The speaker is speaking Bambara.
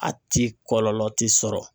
A ti kɔlɔlɔ tɛ sɔrɔ